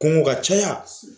Kungo ka caya.